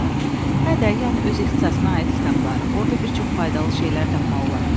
Hə, də, yəni öz ixtisasına aid kitabları, orda bir çox faydalı şeylər tapmaq olar.